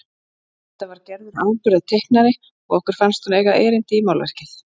Enda var Gerður afburðateiknari og okkur fannst hún eiga erindi í málverkið.